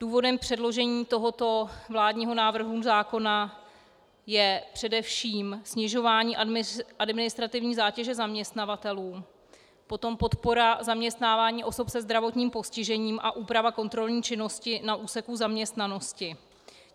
Důvodem předložení tohoto vládního návrhu zákona je především snižování administrativní zátěže zaměstnavatelů, potom podpora zaměstnávání osob se zdravotním postižením a úprava kontrolní činnosti na úseku zaměstnanosti.